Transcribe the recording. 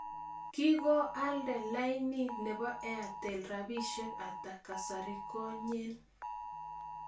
kikyolnda laini ne po airtel rabisiek ata kasarigonyen